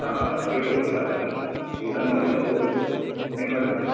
ಆ Tulu last bench ಆ ಇಲ್ಲ ನೋಡ್ಲಿಲ್ಲ ಹೋಗ್ಬೇಕು. ನೀವ್ ನೋಡಿದ್ರ?